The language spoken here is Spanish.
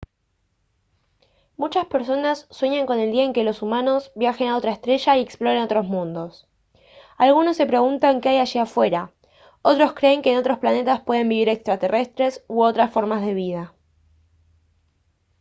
muchas personas sueñan con el día en que los humanos viajen a otra estrella y exploren otros mundos algunas se preguntan qué hay allí afuera otras creen que en otros planetas pueden vivir extraterrestres u otras formas de vida